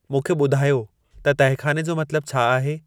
मूंखे ॿुधायो त तहखाने जो मतलबु छा आहे